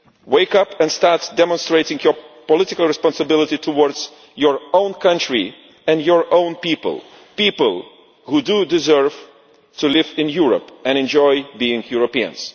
Wake up and start demonstrating your political responsibility to your own country and your own people people who deserve to live in Europe and to enjoy being Europeans.